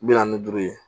Bi naani ni duuru ye